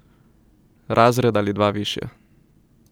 Razred ali dva višje.